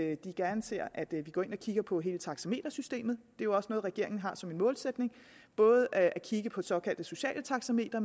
at de gerne ser at vi går ind og kigger på hele taxametersystemet jo også noget regeringen har som en målsætning både at kigge på det såkaldte sociale taxameter